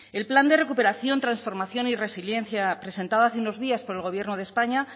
el plan de recuperación transformación y resiliencia presentado hace unos días por el gobierno de españa